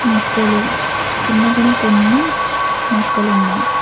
మొక్కలు కింద కూడా కొన్ని మొక్కలు ఉన్నాయి.